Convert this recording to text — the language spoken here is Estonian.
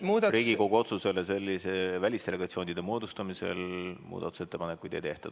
Riigikogu otsuse kohta selliste välisdelegatsioonide moodustamise puhul muudatusettepanekuid ei tehta.